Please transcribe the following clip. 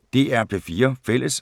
DR P4 Fælles